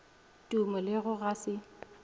tumo le go ga se